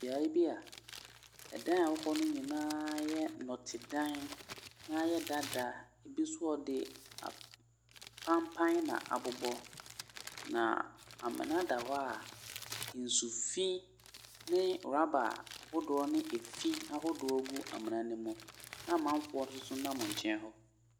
Beaeɛ bia ɛdan a ɛwɔ ho no nyinaa yɛ nnote dan na aya dada ɛbi nso ɔde apanpan na abobɔ na amena da hɔ nsu fii ne raba ahodoɔ ne fii ahodoɔ gu amena no mu na amanfoɔ nso so nam nkyɛn hɔ.